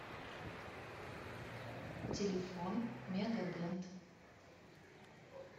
телефон мега дент